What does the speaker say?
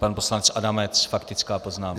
Pan poslanec Adamec, faktická poznámka.